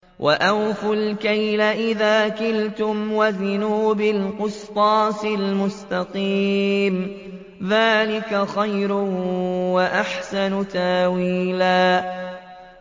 وَأَوْفُوا الْكَيْلَ إِذَا كِلْتُمْ وَزِنُوا بِالْقِسْطَاسِ الْمُسْتَقِيمِ ۚ ذَٰلِكَ خَيْرٌ وَأَحْسَنُ تَأْوِيلًا